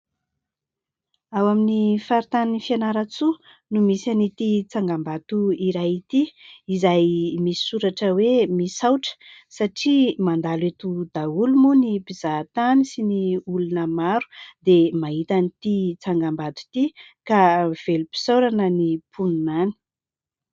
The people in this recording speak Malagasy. Ao amin'ny faritan'i Fianaratsoa no misy an'ity tsangambato iray ity, izay misoratra hoe ''misaotra '' satria mandalo eto daholo moa ny mpizahatany sy ny olona maro dia mahita an'ity tsangambato ity ka velom-pisaorana ny mponina any.